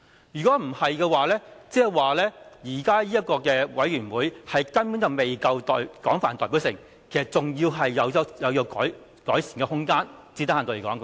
如果不是，即是說現時這個提名委員會根本未夠廣泛代表性，最低限度是有改善的空間的。